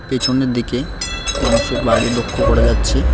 পেছনের দিকে মানুষের বাড়ি লক্ষ করা যাচ্ছে।